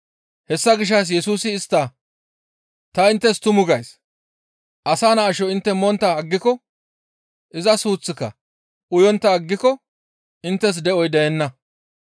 Hessa gishshas Yesusi istta, «Ta inttes tumu gays; Asa Naa asho intte montta aggiko, iza suuththika uyontta aggiko inttes de7oy deenna.